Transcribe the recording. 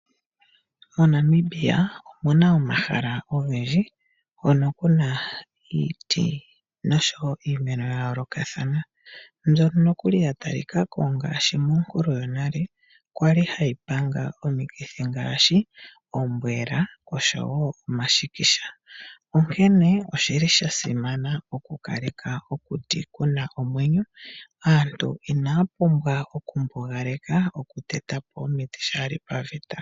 MoNamibia omuna omahala ogendji ngono kuna iiti noshowo iimeno ya yolokathana mbyono nokuli ya tali kwako ngashi monkulu yonale kwali hayi panga omikithi ngashi ombwela oshowo omashikisha. Onkene oshili sha simana oku kaleka okuti kuna omwenyo, aantu inaya pumbwa oku mbugaleka ombuga oku tetapo omiti shali paveta.